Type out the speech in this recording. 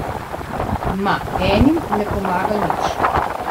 Ma, enim ne pomaga nič.